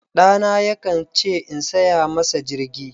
Ɗana yakan ce in saya masa jirgi.